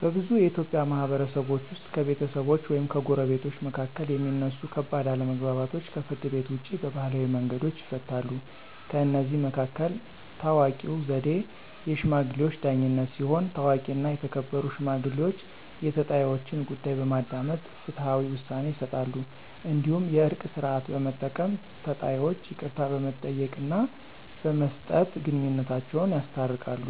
በብዙ የኢትዮጵያ ማህበረሰቦች ውስጥ ከቤተሰቦች ወይም ከጎረቤቶች መካከል የሚነሱ ከባድ አለመግባባቶች ከፍርድ ቤት ውጭ በባህላዊ መንገዶች ይፈታሉ። ከእነዚህ መካከል ታዋቂው ዘዴ “የሽማግሌዎች ዳኝነት” ሲሆን፣ ታዋቂና የተከበሩ ሽማግሌዎች የተጣይወችን ጉዳይ በማዳመጥ ፍትሃዊ ውሳኔ ይሰጣሉ። እንዲሁም “የእርቅ ሥርዓት” በመጠቀም ተጣይወች ይቅርታ በመጠየቅና በመስጠት ግንኙነታቸውን ያስታርቃሉ።